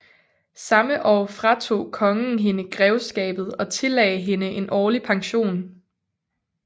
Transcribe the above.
Samme år fratog kongen hende grevskabet og tillagde hende en årlig pension